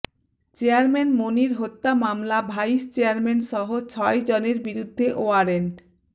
chairman Monir হত্যা মামলা vice চেয়ারম্যানসহ ছয়জনের বিরুদ্ধে ওয়ারেন্ট